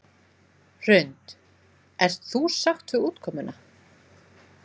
Hrund: Ert þú sátt við útkomuna?